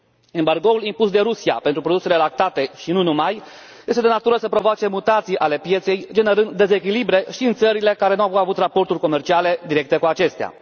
Embargoul impus de Rusia pentru produsele lactate și nu numai este de natură să provoace mutații ale pieței, generând dezechilibre și în țările care nu avut raporturi comerciale directe cu acestea.